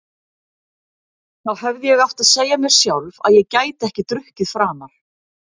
Þá hefði ég átt að segja mér sjálf að ég gæti ekki drukkið framar.